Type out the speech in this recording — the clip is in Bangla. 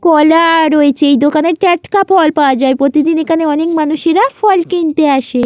কলা রয়েছে। এই দোকানে টাটকা ফল পাওয়া যায় প্রতিদিন এখানে অনেক মানুষেরা ফল কিনতে আসে।